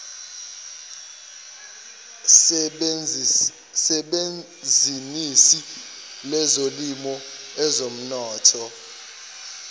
sebhizinisi lezolimo ezomnotho